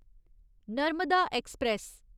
Narmada express